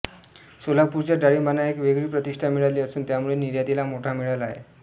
सोलापूरच्या डाळिंबांना एक वेगळी प्रतिष्ठा मिळाली असून त्यामुळे निर्यातीला मोठा मिळाला आहे